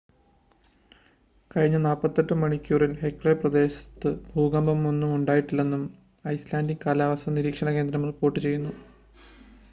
കഴിഞ്ഞ 48 മണിക്കൂറിൽ ഹെക്ല പ്രദേശത്ത് ഭൂകമ്പമൊന്നും ഉണ്ടായിട്ടില്ലെന്നും ഐസ്‌ലാൻഡിക് കാലാവസ്ഥാ നിരീക്ഷണ കേന്ദ്രം റിപ്പോർട്ട് ചെയ്യുന്നു